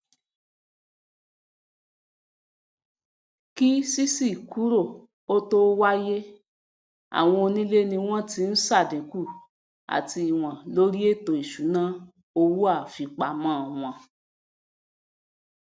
kí ṣiṣi kúrò ó tó wáyéàwon onílé ni wón tí n sàdínkù ati ìwòn lórí ètò ìṣúná owóàfipamọ won